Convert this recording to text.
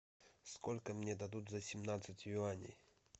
сколько мне дадут за семнадцать юаней